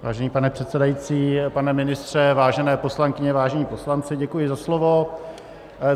Vážený pane předsedající, pane ministře, vážené poslankyně, vážení poslanci, děkuji za slovo.